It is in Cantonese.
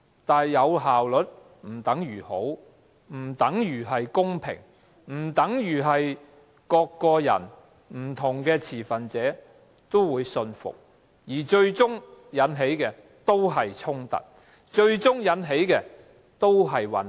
但是，有效率不等於好，不等於公平，不等於每個人和不同持份者也信服，最終只會引起衝突和混亂。